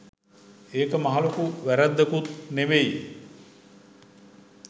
ඒක මහලොකු වැරැද්දකුත් නෙවෙයි